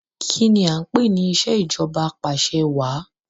Kìíní a ń pè ní ìsèjọba apàṣẹwà?